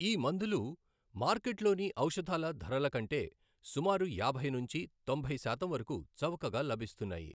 ఈ మందులు మార్కెట్లోని ఔషధాల ధరల కంటే సుమారు యాభై నుంచి తొంభై శాతం వరకు చవకగా లభిస్తున్నాయి.